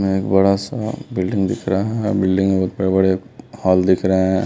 एक बड़ा सा बिल्डिंग दिख रहा है बिल्डिंग में बहोत बड़े बड़े हॉल दिख रहे है।